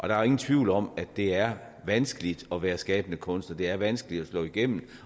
der er ingen tvivl om at det er vanskeligt at være skabende kunstner det er vanskeligt at slå igennem